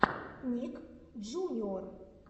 ник джуниор